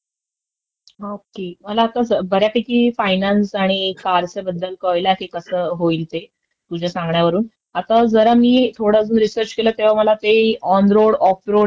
अ..नवीन car खरेदी करताना कुठल्याही not clear चे डॉक्युमेंन्ट असतात त्याच्यावर साइन करण्याआधी ते सगळं नीट बघायला पाहिजे की ऑन रोड की ऑफ रोड तपासणी झालीय की नाही.